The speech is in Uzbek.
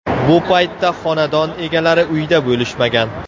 Bu paytda xonadon egalari uyda bo‘lishmagan.